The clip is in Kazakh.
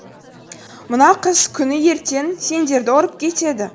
мына қыз күні ертең сендерді ұрып кетеді